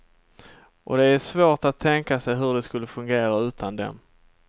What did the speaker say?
Och det är svårt att tänka sig hur det skulle fungera utan dem.